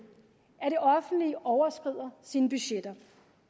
at det offentlige overskrider sine budgetter